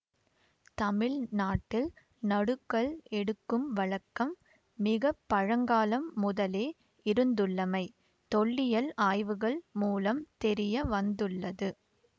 தமிழ் நாட்டில் நடுகல் எடுக்கும் வழக்கம் மிக பழங்காலம் முதலே இருந்துள்ளமை தொல்லியல் ஆய்வுகள் மூலம் தெரிய வந்துள்ளது